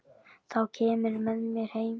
Þá kemurðu með mér heim.